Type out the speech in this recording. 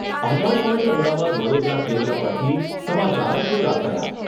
આકાશવાણી અમદાવાદ વડોદરા કેન્દ્ર પરથી સમાચાર પૂરા થયા